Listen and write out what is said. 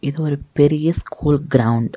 இது ஒரு பெரிய ஸ்கூல் கிரவுண்ட் .